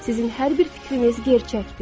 Sizin hər bir fikriniz gerçəkdir.